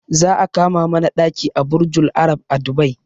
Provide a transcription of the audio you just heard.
Za a kama mana ɗaki a burjul arab a dubai